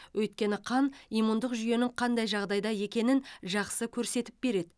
өйткені қан иммундық жүйенің қандай жағдайда екенін жақсы көрсетіп береді